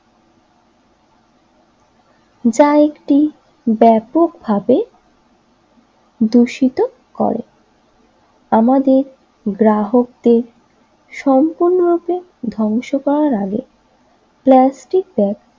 যা একটি ব্যাপকভাবে দূষিত করে আমাদের গ্রাহকদের সম্পূর্ণরূপে ধ্বংস করার আগে প্লাস্টিক ব্যাগ